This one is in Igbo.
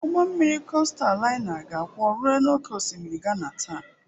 Ụgbọ mmiri kostal laina ga-akwọ rue n'oké osimiri Ghana taa.